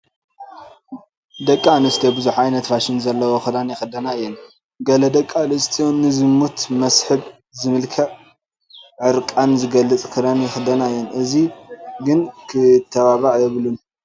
ደቂ ኣንስትዮ ብዙሕ ዓይነት ፋሽን ዘለዎ ክዳን ይኽደና እየን፡፡ ገለ ደቂ ኣንስትዮ ንዝሙት መስሕብ ዝመስል ዕርቃን ዝገልፅ ክዳን ይኽደና እየን፡፡ እዚ ግን ክተባባዕ የብሉን፡፡